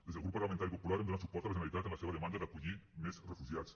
des del grup parlamentari popular hem donat suport a la generalitat en la seva demanda d’acollir més refugiats